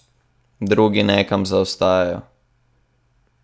Drugi nekam zaostajajo?